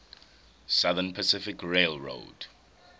southern pacific railroad